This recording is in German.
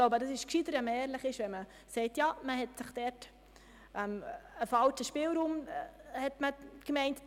Ich glaube es ist klüger, ehrlich zu sein und einzugestehen, dass man von einem falschen Spielraum ausging.